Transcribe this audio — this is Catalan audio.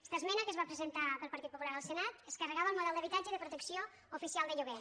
aquesta esmena que es va presentar pel partit popular al senat es carregava el model d’habitatge de protecció oficial de lloguer